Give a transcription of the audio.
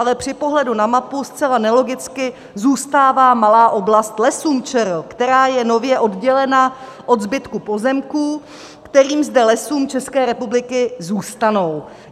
Ale při pohledu na mapu zcela nelogicky zůstává malá oblast Lesům ČR, která je nově oddělena od zbytku pozemků, které zde Lesům České republiky zůstanou.